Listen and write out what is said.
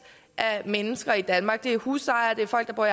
af mennesker i danmark det er husejere det er folk der